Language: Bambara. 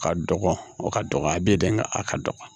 Ka dɔgɔn o ka dɔgɔ a bɛ ye dɛ nga a ka dɔgɔ